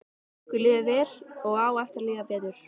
Okkur líður vel og á eftir að líða betur.